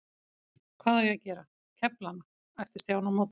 Hvað á ég að gera, kefla hana? æpti Stjáni á móti.